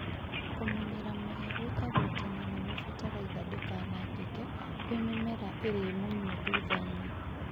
kũmunyĩra mũhĩa gũĩkagwo tene nĩgwo fatalaitha ndĩkanangĩke kwĩ mĩmera ĩrĩmunywo thuthainĩ